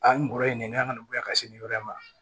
A n bɔra yen nɛn kana bɔ yan ka se nin yɔrɔ ma